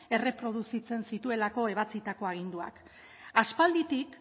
erreproduzitzen zituelako ebatzitako aginduak aspalditik